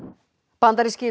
bandaríski